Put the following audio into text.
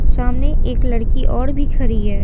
सामने एक लड़की और भी खड़ी है।